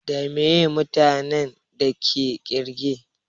Da meye mutanin da ke ƙirge?